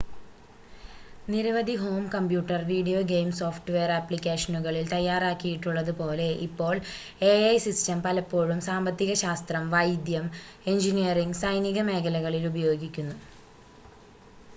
നിരവധി home computer video game software ആപ്ലിക്കേഷനുകളിൽ തയ്യാറാക്കിയിട്ടുള്ളത് പോലെ ഇപ്പോൾ എഐ സിസ്റ്റം പലപ്പോഴും സാമ്പത്തിക ശാസ്ത്രം വൈദ്യം എഞ്ചിനീയറിംഗ് സൈനിക മേഖലകളിൽ ഉപയോഗിക്കുന്നു